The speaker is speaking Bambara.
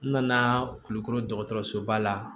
N nana kulukɔrɔ dɔgɔtɔrɔsoba la